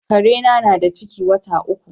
Kare na, na da ciki wata uku.